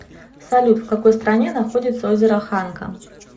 салют в какой стране находится озеро ханка